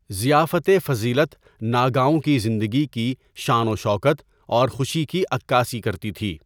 ضیافتِ فضیلت ناگاؤں کی زندگی کی شان و شوکت اور خوشی کی عکاسی کرتی تھی۔